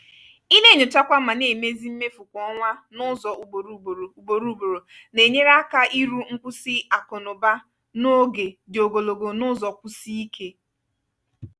ị na-enyochakwa ma na-emezi mmefu kwa ọnwa n'ụzọ ugboro ugboro ugboro ugboro na-enyere aka iru nkwụsi akụ na ụba n’oge dị ogologo n'ụzọ kwụsie ike.